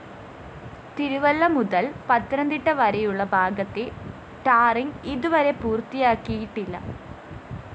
തിരുവല്ല മുതല്‍ പത്തനംതിട്ട വരെയുള്ള ഭാഗത്തെ ടാറിങ്‌ ഇതുവരെ പൂര്‍ത്തിയാക്കിയിട്ടില്ല്